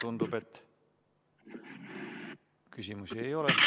Tundub, et küsimusi ei ole.